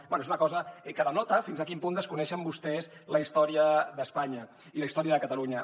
bé és una cosa que denota fins a quin punt desconeixen vostès la història d’espanya i la història de catalunya